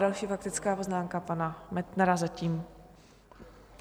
Další faktická poznámka pana Metnara, zatím.